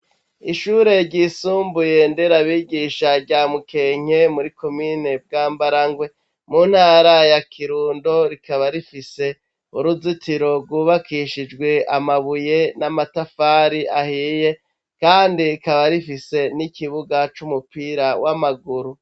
Ishure ryisumbuye, Nderabigisha rya Mukenke, muri komine Bwambarangwe, mu ntara ya Kirundo, rikaba rifise uruzitiro, rwubakishijwe amabuye n'amatafari ahiye; kandi rikaba rifise, n'ikibuga c'umupira w'amaguru.